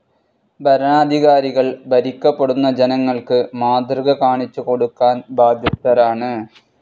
ഭരണാധികാരികൾ ഭരിക്കപ്പെടുന്ന ജനങ്ങൾക്ക് മാതൃകകാണിച്ചുകൊടുക്കുവാൻ ബാധ്യസ്ഥരാണ്.